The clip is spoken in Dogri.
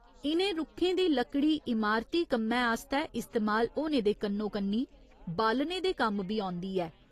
इ'नें रुक्खें दी लकड़ी इमारती कम्मै आस्तै इस्तेमाल होने दे कन्नो कन्नी बालने दे कम्म बी औंदी ऐ।